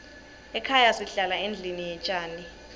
ekhaya sihlala endlini yetjani